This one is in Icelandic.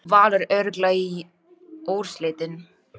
Valur örugglega í úrslitin